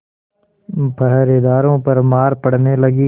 पहरेदारों पर मार पड़ने लगी